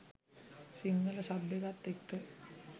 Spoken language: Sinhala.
සිංහල සබ් එකත් එක්ක